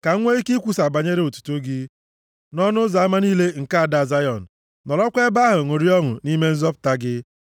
ka m nwee ike ikwusa banyere otuto gị nʼọnụ ụzọ ama + 9:14 Ọ bụ nʼụzọ ama obodo ka a na-anọ akparị ụka niile dị mkpa. \+xt Rut 4:1\+xt* niile nke ada Zayọn, nọrọkwa ebe ahụ ṅụrịa ọṅụ nʼime nzọpụta gị.